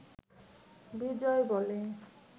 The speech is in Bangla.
বিজয় বলে